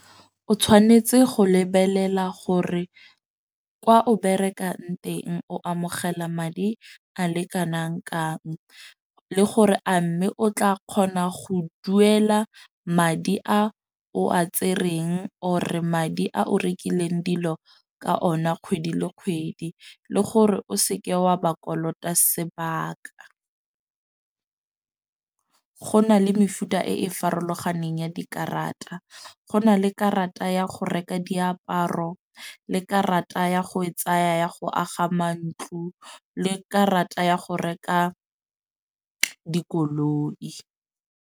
O tshwanetse go lebelela gore kwa o berekang teng o amogela madi a le kanang kang le gore, a mme o tla kgona go duela madi a o a tsereng or madi a o rekileng dilo ka ona kgwedi le kgwedi le gore o seke wa ba kolota sebaka. Go na le mefuta e e farologaneng ya dikarata. Go na le karata ya go reka diaparo le karata ya go e tsaya ya go aga mantlo le karata ya go reka dikoloi.